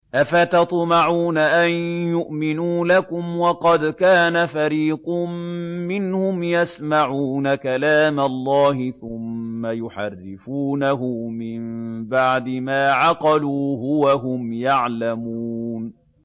۞ أَفَتَطْمَعُونَ أَن يُؤْمِنُوا لَكُمْ وَقَدْ كَانَ فَرِيقٌ مِّنْهُمْ يَسْمَعُونَ كَلَامَ اللَّهِ ثُمَّ يُحَرِّفُونَهُ مِن بَعْدِ مَا عَقَلُوهُ وَهُمْ يَعْلَمُونَ